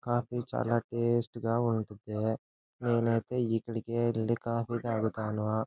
Coffee చాల taste గ ఉంటది. నేను అయితే ఇక్కడికి వెళ్లి కాఫీ తాగుతాను.